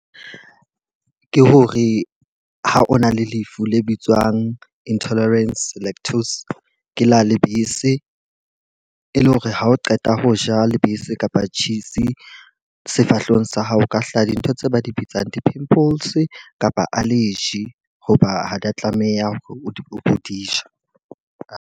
Ke hore ha o na le lefu le bitswang intolerance lactose ke la lebese. E le hore ha o qeta ho ja lebese kapa cheese sefahlehong sa hao o ka hlaha dintho tse ba di bitsang di-pimples kapa allergy. Hoba ha di a tlameha hore o di ja.